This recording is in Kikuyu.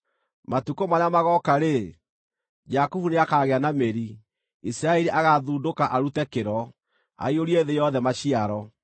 Matukũ marĩa magooka-rĩ, Jakubu nĩakagĩa na mĩri, Isiraeli agaathundũka arute kĩro, aiyũrie thĩ yothe maciaro.